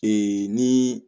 ni